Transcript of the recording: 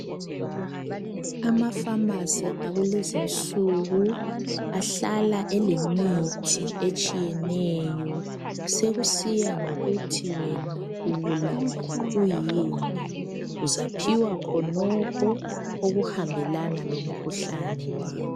Amapharmacy akulezinsuku ahlala elemithi etshiyeneyo. Sekusiya ngokuthi wena ubulawa yikuyini. Uzaphiwa khonokho okuhambelana lomkhuhlane wakho.